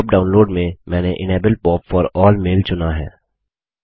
pop download में मैंने सभी मेल्स के लिए इनेबल पॉप चुना है